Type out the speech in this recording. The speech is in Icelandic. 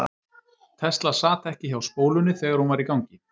Tesla sat ekki hjá spólunni þegar hún var í gangi.